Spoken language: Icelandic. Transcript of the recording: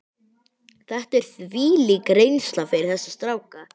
Þetta er þvílík reynsla fyrir þessa stráka.